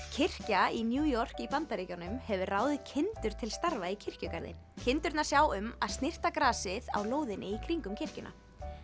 kirkja í New York í Bandaríkjunum hefur ráðið kindur til starfa í kirkjugarðinn kindurnar sjá um að snyrta grasið á lóðinni í kringum kirkjuna